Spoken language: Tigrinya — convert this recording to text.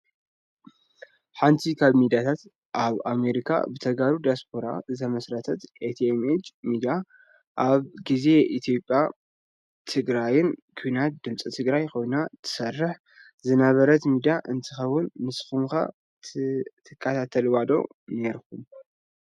ሓንቲ ካብ ሚዳታት ኣብ አሜሪካ ብተጋሩ ዲያስፖራ ዝተመስረተት ቲ.ኤም.ኤች ሚድያ ኣብ ግዜ ኢትዮጵያን ትግራይን ኩናት ድምፂ ትግራይ ኮይና ትሰርሕ ዝነበረት ሚድያ እንትከውን፣ ንስኩም ከ ትካታተልዋ ዶ ኔርኩም?